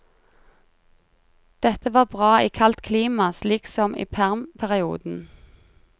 Dette var bra i kaldt klima slik som i permperioden.